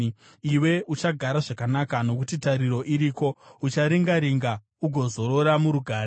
Iwe uchagara zvakanaka, nokuti tariro iriko; ucharinga-ringa ugozorora murugare.